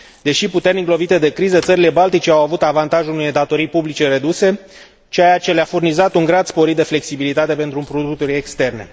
Deși puternic lovite de criză, țările baltice au avut avantajul unei datorii publice reduse, ceea ce le a furnizat un grad sporit de flexibilitate pentru împrumuturi externe.